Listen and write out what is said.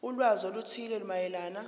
ulwazi oluthile mayelana